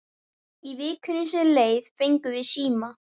Í vikunni sem leið fengum við síma.